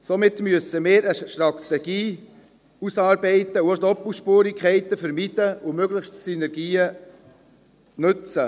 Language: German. Somit müssen wir eine Strategie ausarbeiten und auch Doppelspurigkeiten vermeiden und möglichst Synergien nutzen.